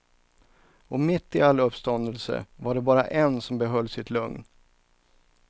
Och mitt i all uppståndelse var det bara en som behöll sitt lugn.